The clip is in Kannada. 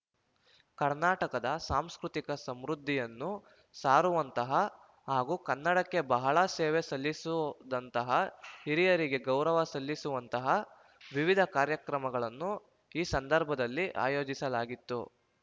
ಕರ್ನಾಟಕದ ಸಾಂಸ್ಕೃತಿಕ ಸಮೃದ್ಧಿಯನ್ನು ಸಾರುವಂತಹ ಹಾಗೂ ಕನ್ನಡಕ್ಕೆ ಬಹಳ ಸೇವೆ ಸಲ್ಲಿಸೊದಂತಹ ಹಿರಿಯರಿಗೆ ಗೌರವ ಸಲ್ಲಿಸುವಂತಹ ವಿವಿಧ ಕಾರ್ಯಕ್ರಮಗಳನ್ನು ಈ ಸಂಧರ್ಭದಲ್ಲಿ ಆಯೋಜಿಸಲಾಗಿತ್ತು